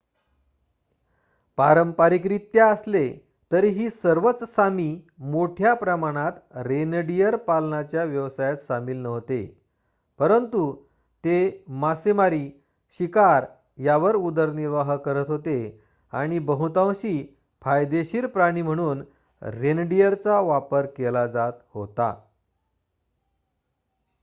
पारंपारिकरित्या असले तरीही सर्वच सामी मोठ्या प्रमाणात रेनडिअर पालनाच्या व्यवसायात सामील नव्हते परंतु ते मासेमारी शिकार यावर उदरनिर्वाह करत होते आणि बहुतांशी फायदेशीर प्राणी म्हणून रेनडिअरचा वापर केला जात होता